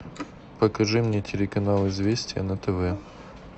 покажи мне телеканал известия на тв